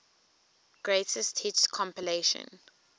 greatest hits compilation